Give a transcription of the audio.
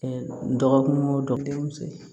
dɔgɔkun wo dɔgɔkimuso